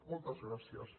moltes gràcies